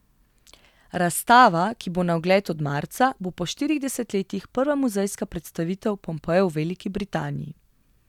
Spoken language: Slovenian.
Razstava, ki bo na ogled od marca, bo po štirih desetletjih prva muzejska predstavitev Pompejev v Veliki Britaniji.